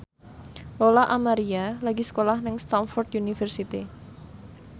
Lola Amaria lagi sekolah nang Stamford University